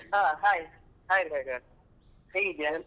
ಹಾ hai hai Ravikiran ಹೇಗಿದ್ಯಾ?